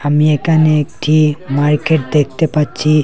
আমি এখানে একটি মার্কেট দেখতে পাচ্ছি।